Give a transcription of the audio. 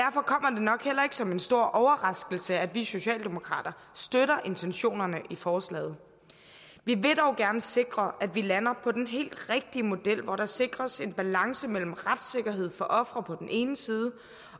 nok heller ikke som en stor overraskelse at vi socialdemokrater støtter intentionerne i forslaget vi vil dog gerne sikre at vi lander på den helt rigtige model hvor der sikres en balance mellem retssikkerhed for ofre på den ene side